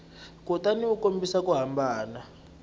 kutani u kombisa ku hambana